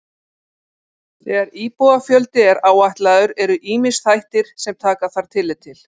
Þegar íbúafjöldi er áætlaður eru ýmsir þættir sem taka þarf tillit til.